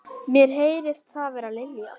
Mér heyrist það vera Lilja.